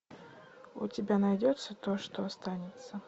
у тебя найдется то что останется